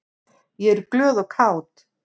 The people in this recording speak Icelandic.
Ég er glöð og kát.